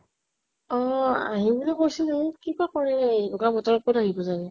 অ । আহিম বুলি কৈছিলে । কি বা কৰে, এ এনেকুৱা বতৰত কʼত আহিব চাগে ।